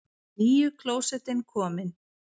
NÝJU KLÓSETTIN KOMIN!